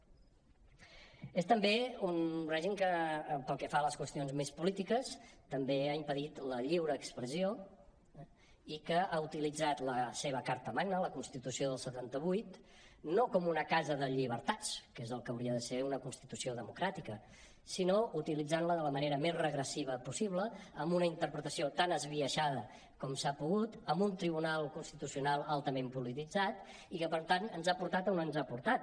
és també un règim que pel que fa a les qüestions més polítiques ha impedit la lliure expressió eh i ha utilitzat la seva carta magna la constitució del setanta vuit no com una casa de llibertats que és el que hauria de ser una constitució democràtica sinó de la manera més regressiva possible amb una interpretació tan esbiaixada com s’ha pogut amb un tribunal constitucional altament polititzat i que per tant ens ha portat on ens ha portat